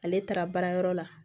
Ale taara baarayɔrɔ la